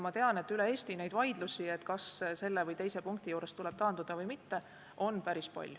Ma tean, et üle Eesti on neid vaidlusi, kas selle või teise punkti juures tuleb taanduda või mitte, päris palju.